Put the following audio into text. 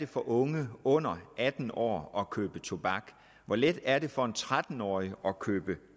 for unge under atten år at købe tobak hvor let er det for en tretten årig at købe